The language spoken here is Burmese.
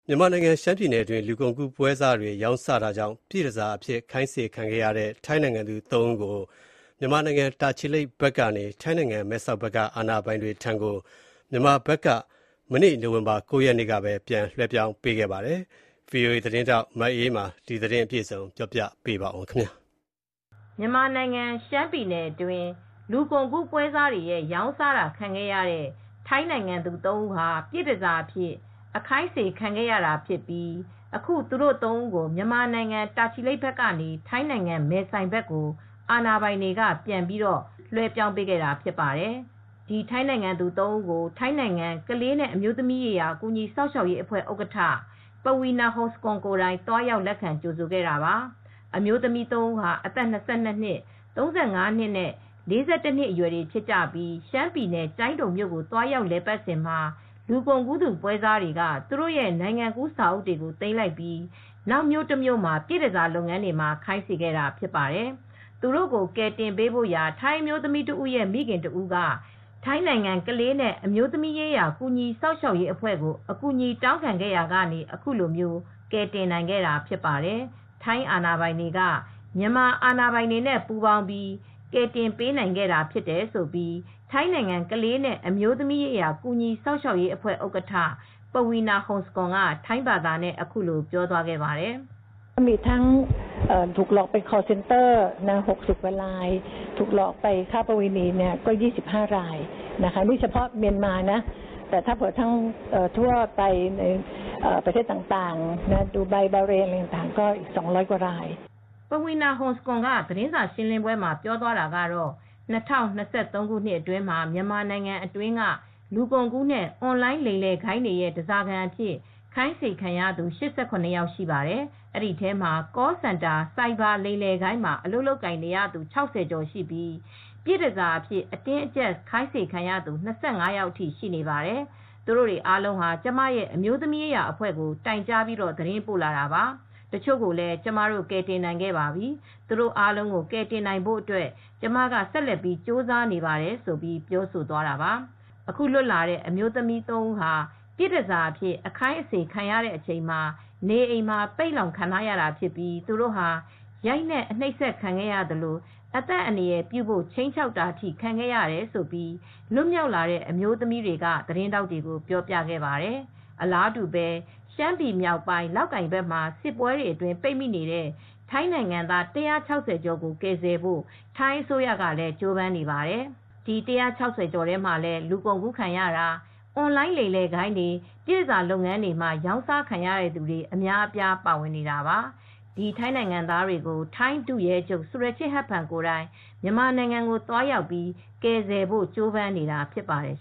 မြန်မာနိုင်ငံ ရှမ်းပြည်နယ်အတွင်း လူကုန်ကူးပွဲစားများက ရောင်းစားတာကြောင့် ပြည့်တန်ဆာအဖြစ် ခိုင်းစေခံနေရတဲ့ ထိုင်းနိုင်ငံသူသုံးဦးကို မြန်မာနိုင်ငံတာချီလိပ်ဘက်ကနေ ထိုင်းနိုင်ငံမဲဆိုင်ဘက်က အာဏာာပိုင်တွေထံကို မြန်မာဘက်က နိုဝင်ဘာလ ၉ရက်နေ့ ပြန်လည် လွှဲပြောင်းပေးခဲ့ပါတယ်။ ဒီသတင်းကို ဗွီအိုအေသတင်းထောက်မအေးအေးမာကသတင်းပေးပို့ထားပါတယ်။ မြန်မာနိုင်ငံ ရှမ်းပြည်နယ်အတွင်း လူကုန်ကူးပွဲစားတွေရဲ့ ရောင်းစားတာခံခဲ့ရတဲ့ ထိုင်းနိုင်ငံသူသုံးဦးဟာ ပြည့်တန်ဆာအဖြစ် အခိုင်းစေခံခဲ့ရတာ ဖြစ်ပြီး အခု သူတို့ ၃ ဦးကို မြန်မာနိုင်ငံ တာချီလိပ်ဘက်ကနေ ထိုင်းနိုင်ငံ မဲဆိုင်ဘက်ကို အာဏာပိုင်တွေက ပြန်ပြီး လွဲှပြောင်းပေးခဲ့တာ ဖြစ်ပါတယ်။ ဒီထိုင်းနိုင်ငံသူ သုံးဦးကို ထိုင်းနိုင်ငံကလေးနဲ့ အမျိုးသမီးရေးရာ ကူညီစောင့်ရှောက်ရေးအဖွဲ့ ဥက္ကဋ္ဌ Paweena Hongsakul ပဝီနာ ဟုန်စကွန် ကိုယ်တိုင် သွားရောက် လက်ခံကြိုဆိုခဲ့တာပါ။ အမျိုးသမီး သုံးဦးဟာ အသက် ၂၂နှစ် ၃၅နဲ့ ၄၁နှစ်အရွယ်တွေ ဖြစ်ကြပြီး ရှမ်းပြည်နယ် ကျိုင်းတုံ မြို့ကို သွားရောက် လည်ပါတ်စဉ်မှာ လူကုန်ကူး ပွဲစားတွေက သူတို့တွေရဲ့ နိုင်ငံကူး စာအုပ်တွေကို သိမ်းလိုက်ပြီး နောက်မြို့တမြို့က ပြည်တန်ဆာလုပ်ငန်းတွေမှာ ခိုင်းစေခဲ့တာ ဖြစ်ပါတယ်။ သူတို့ကို ကယ်တင်ပေးဖို့ရာ ထိုင်းအမျိုးသမီးတဦးရဲ့ မိခင်တစ်ဦးက ထိုင်းနိုင်ငံကလေးနဲ့ အမျိုးသမီးရေးရာ ကူညီစောင့်ရှောက်ရေး အဖွဲ့ကို အကူညီတောင်းခဲ့ရာကနေ အခုလိုကယ်တင်နိုင်ခဲ့တာ ဖြစ်ပါတယ်။ ထိုင်းအာဏာပိုင်တွေက မြန်မာအာဏာပိုင်တွေနဲ့ပူးပေါင်းပြီး ကယ်တင်ပေးနိုင်ခဲ့တာ ဖြစ်တယ်လို့ ထိုင်းနိုင်ငံကလေးနဲ့ အမျိုးသမီးရေးရာ ကူညီစောင့်ရှောက်ရေးအဖွဲ့ ဥက္ကဋ္ဌ Paweena Hongsakul ပဝီနာ ဟုန်စကွန်က ထိုင်းဘာသာနဲ့ ပြောပါတယ်။ ပဝီနာ ဟုန်စကွန် သတင်းစာရှင်းပွဲမှာပြောသွားတာကတော့ ၂၀၂၃ ခုနှစ်အတွင်းမှာ မြန်မာနိုင်ငံအတွင်းက လူကုန်ကူးနဲ့ အွန်လိုင်လိမ်လည်ဂိုဏ်းတွေရဲ့ တန်ဆာခံအဖြစ် ခိုင်းစေခံနေရသူတွေ ၈၇ ယောက်ထိရှိပါတယ် ဒီအထဲမှာCall Center ဆိုင်ဘာလိမ်လည်ဂိုဏ်းမှာ အလုပ်လုပ်ကိုင်နေရသူ၆၀ကျော်ရှိပြီး ပြည့်တန်ဆာအဖြစ် အတင်းအကြပ်ခိုင်းစေခံရသူ ၂၅ယောက် ထိရှိနေပါတယ် သူတွေအားလုံးဟာ ကျမရဲ့အမျိုးသမီးရေးရာအဖွဲကိုတိုင်ကြားသတင်းပို့လာတာပါ ။ တချို့ကိုလည်း ကျမတို့ကယ်တင်နိုင်ခဲ့ပါပြီ သူတိုအားလုံးကယ်တင်နိုင်ဖို့ကျမဆက်လက် ကြိုးစားနေပါတယ် လို့ ပြောဆိုသွားတာပါ။ အခုလွတ်လာတဲ့ အမျိုးသမီးသုံးဦးဟာ ပြည်တန်ဆာအဖြစ် အခိုင်းအစေ ခံနေရချိန်မှာ နေအိမ်မှာ ပိတ်လှောင်ခံထားရတာ ဖြစ်ပြီး သူတို့ဟာ ရိုက်နှက်အနှိပ်စက်ခံခဲ့ရသလို အသက်အန္တရာယ် ပြုဖို့ ခြိမ်းခြောက်တာ အထိ ခံရတယ်လို့ လွတ်မြောက်လာတဲ့ အမျိုးသမီးတွေက သတင်းထောက်တွေကို ပြောပြခဲ့ပါတယ်။ အလားတူးပဲ ရှမ်းပြည်မြောက်ပိုင်း လောက်ကိုင်ဘက်မှာ စစ်ပွဲတွေအတွင်း ပိတ်မိနေတဲ့ ထိုင်းနိုင်ငံသား ၁၆၀ကျော်ကို ကယ်ဆယ်ဖို့ ထိုင်းအစိုးရ လည်းကြိုးပမ်းနေပါတယ်ဒီ ၁၆၀ ကျော်ထဲမှာလည်း လူကုန်ကူးခံရတာ၊ အွန်လိုင်း လိမ်လည်ဂိုဏ်းတွေ ပြည်တန်ဆာ လုပ်ငန်းတွေမှာ ရောင်းအစား ခံရတဲ့သူတွေ အများအပြားပါဝင်နေတာပါ။ ဒီထိုင်းနိုင်ငံသားတွေကို ထိုင်းဒုရဲချုပ် Surachate Hakparn ကိုယ်တိုင် မြန်မာနိုင်ငံ သွားရောက်ပြီး ကယ်ဆယ်ဖို့ကြိုးပမ်းနေတာ ဖြစ်ပါတယ်